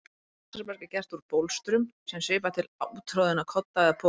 Bólstraberg er gert úr bólstrum sem svipar til úttroðinna kodda eða poka.